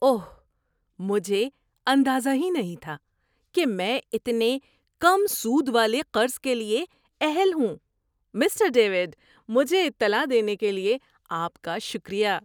اوہ! مجھے اندازہ ہی نہیں تھا کہ میں اتنے کم سود والے قرض کے لیے اہل ہوں۔ Mister David! مجھے اطلاع دینے کے لیے آپ کا شکریہ۔